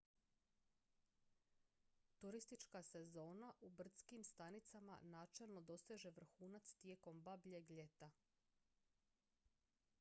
turistička sezona u brdskim stanicama načelno doseže vrhunac tijekom babljeg ljeta